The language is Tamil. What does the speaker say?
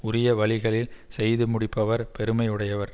உரிய வழிகளில் செய்து முடிப்பவர் பெருமை உடையவர்